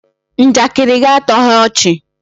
Njakịrị gị atọghị ọchị